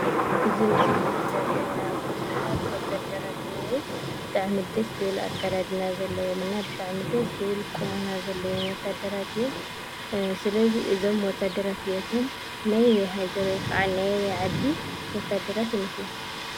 እዚ ምስሊ እዚ ዘሪኤና ብዙሓት ወታድራት እኒአው። ብጣዕሚ ደስ ዝብል ኣከዳድና ዘለዎም እና ብጣዕሚ ደስ ዝብሉ ቁመና ዘለዎም ወታድራት እዮም። ስለዚ እዞም ወታድራት እዚኣቶም ናይ ኣበይ ሃገር ወይ ናይ አበይ ዓዲ ወታድራት ይመስሉ?